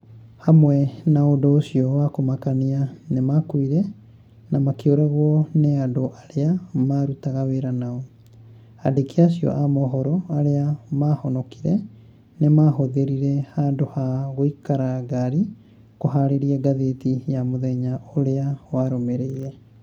Hamwe na ũndũ ũcio wa kũmakania nĩ maakuire na makĩũragwo nĩ andũ arĩa maarutaga wĩra nao, Andĩki acio a mohoro arĩa maahonokire nĩ maahũthĩrire handũ ha gũikara ngari kũharĩria ngathĩti ya mũthenya ũrĩa warũmĩrĩire